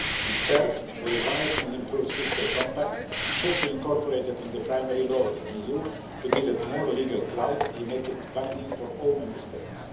And third, the revised and improved fiscal compact should be incorporated into the primary law of the EU to give it more legal clout and make it binding for all Member States.